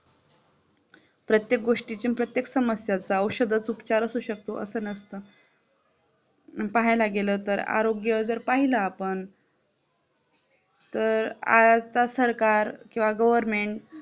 प्रत्येक गोष्टीची प्रत्येक समस्या असतात औषधच उपचार असतो असं नसतं, पाहायला गेला तर आरोग्य पाहिलं आपण तर आजचा सरकार government